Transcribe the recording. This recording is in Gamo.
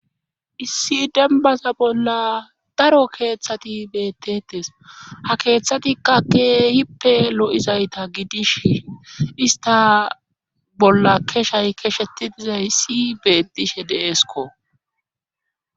issi dembasa bolla daro keeththati beettetes ha keeththatikka keehippe lo7izayta gidish ista bolla keshay keshetidizay si beettishe deesko